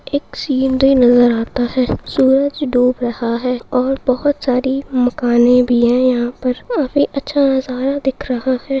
एक सीनरी नजर आता है सूरज डूब रहा है और बोहोत सारी मकाने भी है यहां पर काफी अच्छा नजारा दिख रहा है।